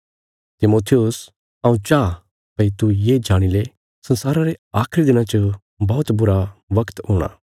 तिमुथियुस हऊँ चांह भई तू ये जाणी ले संसारा रे आखरी दिनां च बौहत बुरा बगत हूणा